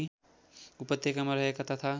उपत्यकामा रहेका तथा